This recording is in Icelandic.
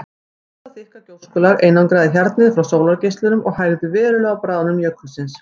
Þetta þykka gjóskulag einangraði hjarnið frá sólargeislunum og hægði verulega á bráðnun jökulsins.